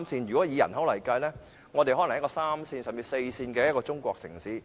如果以人口來計算，我們可能是一個三線甚至四線的中國城市。